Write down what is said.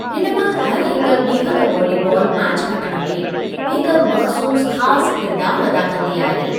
हिन मां हर हिकु ॿीहक वॉलीबालु मैच खटणु में हिकु मख़्सूसु ख़ासि किरदार अदा कंदी आहे।